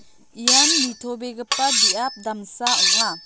ian nitobegipa biap damsa ong·a.